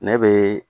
Ne bɛ